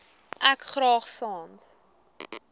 ek graag sans